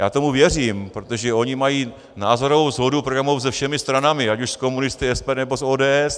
Já tomu věřím, protože oni mají názorovou shodu programovou se všemi stranami, ať už s komunisty, SPD nebo s ODS.